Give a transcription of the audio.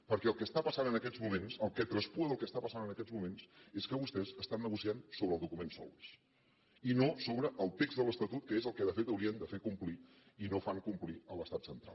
perquè el que està passant en aquests moments el que traspua del que està passant en aquests moments és que vostès estan negociant sobre el document solbes i no sobre el text de l’estatut que és el que de fet haurien de fer complir i no fan complir a l’estat central